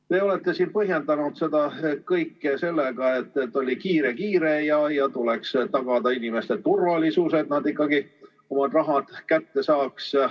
Te olete siin põhjendanud seda kõike sellega, et oli kiire-kiire ja et tuleb tagada inimeste turvalisus, et nad ikkagi oma raha kätte saaks.